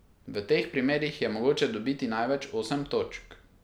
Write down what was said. V teh primerih je mogoče dobiti največ osem točk.